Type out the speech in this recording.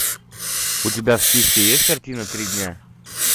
у тебя в списке есть картина три дня